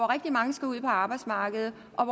rigtig mange skal ud på arbejdsmarkedet og